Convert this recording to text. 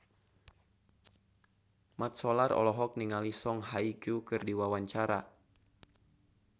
Mat Solar olohok ningali Song Hye Kyo keur diwawancara